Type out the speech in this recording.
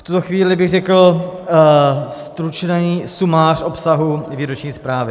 V tuto chvíli bych řekl stručný sumář obsahu výroční zprávy.